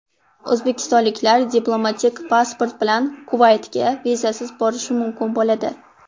O‘zbekistonliklar diplomatik pasport bilan Kuvaytga vizasiz borishi mumkin bo‘ladi.